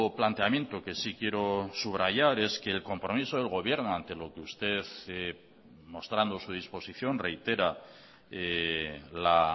planteamiento que sí quiero subrayar es que el compromiso del gobierno ante lo que usted mostrando su disposición reitera la